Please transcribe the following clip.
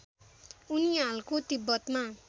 उनी हालको तिब्बतमा